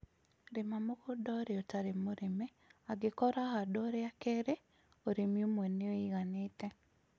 Rĩma mũgũnda ũrĩa ũtarĩ mũrĩme ,angĩkorũo ũrahandwo rĩa kerĩ, ũrĩmi ũmwe nĩ ũiganĩte